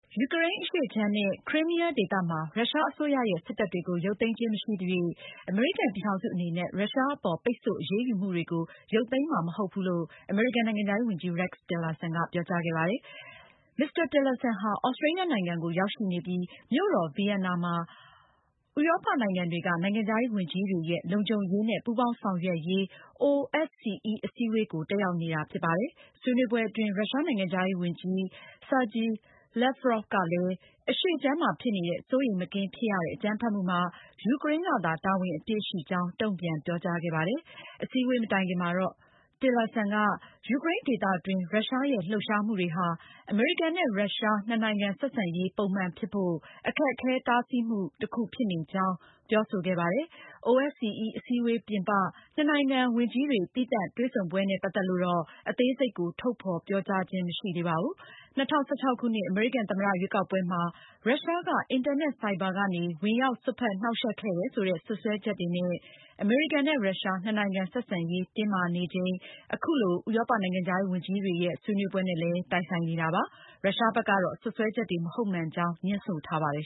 ယူကရိန်းအရှေ့ခြမ်းနဲ့ ခရိုင်းမီယား ဒေသမှာ ရုရှားအစိုးရရဲ့ စစ်တပ်တွေကို ရုပ်သိမ်းခြင်း မရှိသရွေ့ အမေရိကန်ပြည်ထောင်စုအနေနဲ့ ရုရှားအပေါ် ပိတ်ဆို့အရေးယူမှုတွေကို ရုပ်သိမ်းမှာမဟုတ်ဘူးလို့ အမေရိကန်နိုင်ငံခြားရေးဝန်ကြီး Rex Tillerson ကပြောကြားခဲ့ပါတယ်။ Mr. Tillerson ဟာ သြစတြီးယားနိုင်ငံကို ရောက်ရှိနေပြီး မြို့တော် ဗီယက်နာမှာ ဥရောပနိုင်ငံတွေက နိုင်ငံခြားရေးဝန်ကြီးတွေရဲ့ လုံခြုံရေးနဲ့ ပူးပေါင်းဆောင်ရွက်ရေး OSCE အစည်းအဝေးကို တက်ရောက်နေတာဖြစ်ပါတယ်။ ဆွေးနွေးပွဲအတွင်း ရုရှားနိုင်ငံခြားရေးဝန်ကြီး Sergei Lavrov ကလည်း အရှေ့ခြမ်းမှာ ဖြစ်နေတဲ့ စိုးရိမ်မကင်းဖြစ်ရတဲ့ အကြမ်းဖက်မှုမှာ ယူကရိန်းကသာ တာဝန်အပြည့်ရှိကြောင်း တုန့်ပြန်ပြောကြားခဲ့ပါတယ်။ အစည်းအဝေးမတိုင်ခင်မှာတော့ Mr. Tillerson က ယူကရိန်းဒေသတွင်း ရုရှားရဲ့လှုပ်ရှားမှုတွေဟာ အမေရိကန်နဲ့ ရုရှား နှစ်နိုင်ငံဆက်ဆံရေး ပုံမှန်ဖြစ်ဖို့ အခက်အခဲဆုံးတားဆီးမှု တခုဖြစ်နေကြောင်း ပြောဆိုခဲ့ပါတယ်။ OSCE အစည်းအဝေးပြင်ပ နှစ်နိုင်ငံ ဝန်ကြီးတွေ သီးသန့်တွေ့ဆုံပွဲနဲ့ ပတ်သက်လို့ အသေးစိတ်ကို ထုတ်ဖေါ်ပြောကြားခြင်း မရှိသေးပါဘူး။ ၂၀၁၆ခုနှစ် အမေရိကန်သမ္မတရွေးကောက်ပွဲမှာ ရုရှားက အင်တာနက် ဆိုက်ဘာနဲ့ ဝင်ရောက်စွက်ဖက်နှောင့်ယှက်ခဲ့တယ်ဆိုတဲ့ စွပ်စွဲချက်တွေနဲ့ အမေရိကန်နဲ့ ရုရှား နှစ်နိုင်ငံ ဆက်ဆံရေးတင်းမာနေချိန်ဟာ အခု ဥရောပနိုင်ငံခြားရေးဝန်ကြီးတွေရဲ့ ဆွေးနွေးပွဲနဲ့ တိုက်ဆိုင်နေတာပါ။ ရုရှားဘက်ကတော့ စွပ်စွဲချက်တွေ မဟုတ်မှန်ကြောင်း ငြင်းဆိုထားပါတယ်